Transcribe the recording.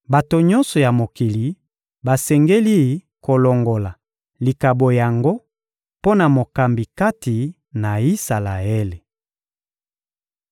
Bato nyonso ya mokili basengeli kolongola likabo yango mpo na mokambi kati na Isalaele.